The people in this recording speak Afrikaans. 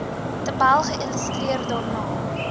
tabel geïllustreer daarna